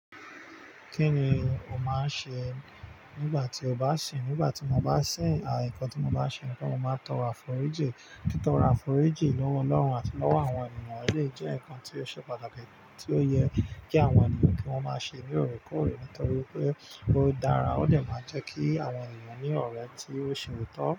Kí ni o máa ṣe nígbà tí o bá sìn? Nígbà tí mo bá sìn, à, nǹkan tí mo bá ṣe ni pé mo máa tọrọ àforíjì. Tí tọrọ àforíjì lọ́wọ́ Ọlọ́run àti lọ́wọ́ àwọn ènìyàn, eleyii jẹ́ nǹkan tí ó ṣe pàtàkì, tí ó yẹ kí àwọn ènìyàn kí wọ́n máa ṣe lóòrèkóòrè nítorí pé ó dára. Ó dè máa jẹ́ kí àwọn ènìyàn ní ọ̀rẹ́ tí ó ṣe òótọ́